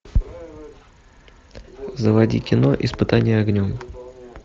заводи кино испытание огнем